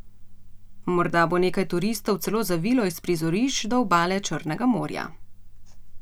Morda bo nekaj turistov celo zavilo iz prizorišč do obale Črnega morja.